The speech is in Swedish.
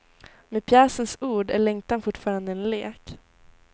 Med pjäsens ord är längtan fortfarande en lek.